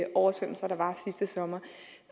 oversvømmelser der var sidste sommer